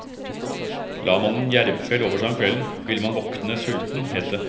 La man en jervfell over seg om kvelden, ville man våkne sulten, het det.